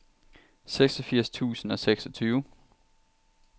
seksogfirs tusind og seksogtyve